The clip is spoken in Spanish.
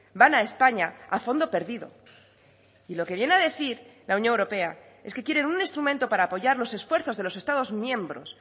van a españa a fondo perdido y lo que viene a decir la unión europea es que quieren un instrumento para apoyar los esfuerzos de los estados miembros